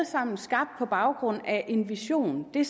sammen skabt på baggrund af en vision det